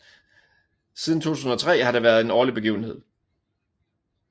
Siden 2003 har det været en årlig begivenhed